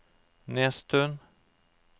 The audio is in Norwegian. Nesttun